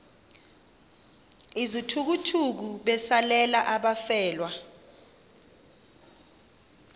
izithukuthuku besalela abafelwa